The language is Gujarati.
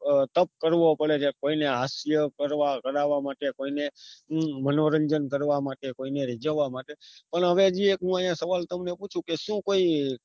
અ તપ કરવો પડે કે કોઈને હાસ્ય કરવા રડવા માટે કોઈ ને મનોરંજન કરવા માટે કોઈને રીજવવા માટે પણ હવે હજી એક હું અહિયાં સવાલ તમને પુછુ શુંકોઈ